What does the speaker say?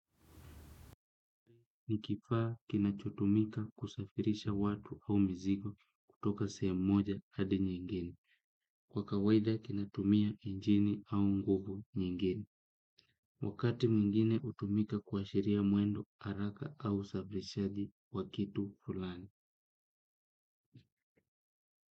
Ni kifaa kinachotumika kusafirisha watu au mzigo kutoka sehemu moja hadi nyingine. Kwa kawaida kinatumia injini au nguvu nyingine. Wakati mwingine hutumika kuashiria mwendo haraka au usafirishaji wa kitu fulani.